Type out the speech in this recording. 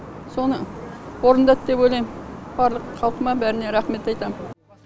соны орындады деп ойлаймын барлық халқыма бәріне рахмет айтамын